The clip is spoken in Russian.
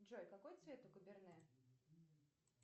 джой какой цвет у каберне